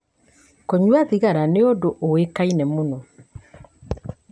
Kũnyua thigara nĩ ũndũ ũĩkaine mũno.